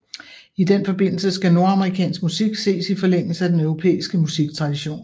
I den forbindelse skal nordamerikansk musik ses i forlængelse af den europæiske musiktradition